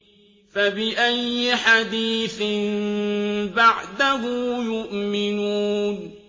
فَبِأَيِّ حَدِيثٍ بَعْدَهُ يُؤْمِنُونَ